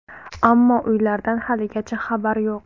Ammo uylardan haligacha xabar yo‘q.